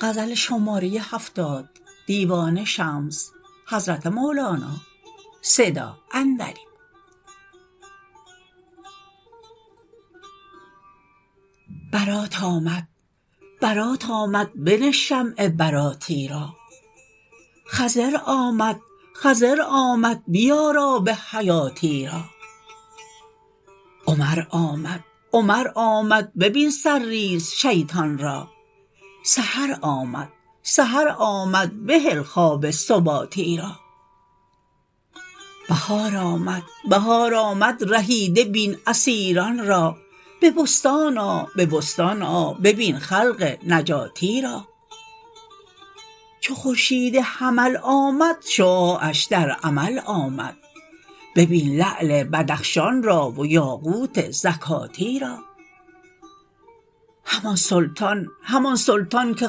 برات آمد برات آمد بنه شمع براتی را خضر آمد خضر آمد بیار آب حیاتی را عمر آمد عمر آمد ببین سرزیر شیطان را سحر آمد سحر آمد بهل خواب سباتی را بهار آمد بهار آمد رهیده بین اسیران را به بستان آ به بستان آ ببین خلق نجاتی را چو خورشید حمل آمد شعاعش در عمل آمد ببین لعل بدخشان را و یاقوت زکاتی را همان سلطان همان سلطان که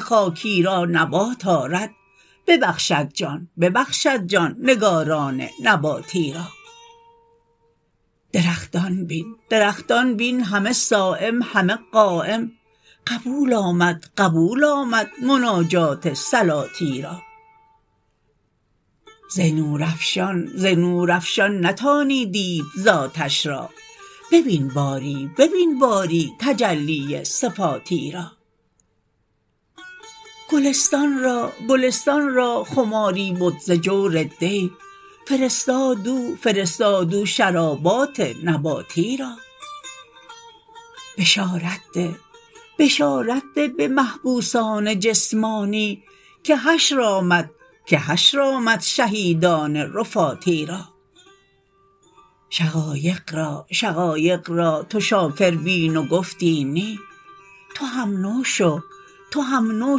خاکی را نبات آرد ببخشد جان ببخشد جان نگاران نباتی را درختان بین درختان بین همه صایم همه قایم قبول آمد قبول آمد مناجات صلاتی را ز نورافشان ز نورافشان نتانی دید ذاتش را ببین باری ببین باری تجلی صفاتی را گلستان را گلستان را خماری بد ز جور دی فرستاد او فرستاد او شرابات نباتی را بشارت ده بشارت ده به محبوسان جسمانی که حشر آمد که حشر آمد شهیدان رفاتی را شقایق را شقایق را تو شاکر بین و گفتی نی تو هم نو شو تو هم نو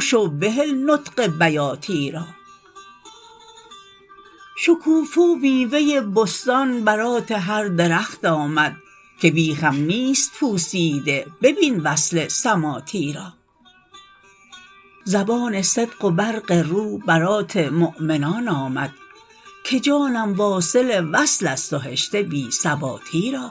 شو بهل نطق بیاتی را شکوفه و میوه بستان برات هر درخت آمد که بیخم نیست پوسیده ببین وصل سماتی را زبان صدق و برق رو برات مؤمنان آمد که جانم واصل وصلست و هشته بی ثباتی را